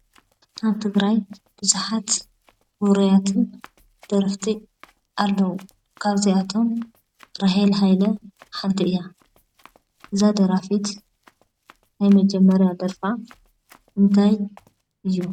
ኣብ ትግራይ ቡዙሓት ዉሩያት ደረፍቲ ኣለዉ፡፡ ካብ እዚኣቶም ራህየል ሃይለ ሓንቲ እያ፡፡ እዛ ደራፊት ናይ መጀመርያ ደርፋ እንታይ እዩ?